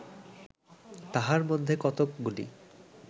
তাহার মধ্যে কতকগুলি